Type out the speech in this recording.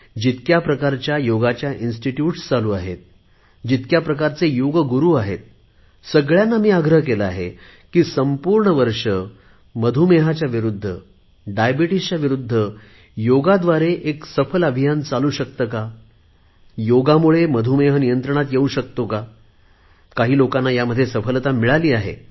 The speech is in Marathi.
जितक्या प्रकारच्या योगाच्या संस्था चालू आहेत जितक्या प्रकारचे योग गुरु आहेत सगळ्यांना मी आग्रह केला आहे की संपूर्ण वर्ष मधूमेहाच्या विरुद्ध योगाद्वारे एक सफल अभियान आपण चालवू शकतो का योगामुळे मधुमेह नियंत्रणात येऊ शकतो का काही लोकांना यामध्ये सफलता मिळाली आहे